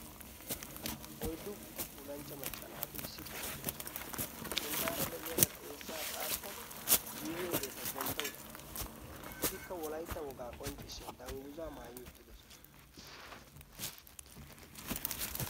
Oyddu gitafuulanchcha maccanaati isshippe eqqidosona. sinttaara de'iyaara xeessaa xaaxada guyyeegee ta gentto uttaasu etikka wolaytta wogaa qonccishshiya dangguza maayi uttidosona.